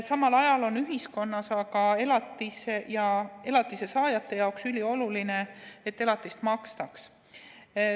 Samal ajal on aga ühiskonna ja elatise saajate jaoks ülioluline, et elatist makstaks.